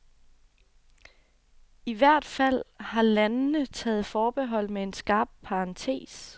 I hvert fald har Ilandene taget forbehold med en skarp parentes.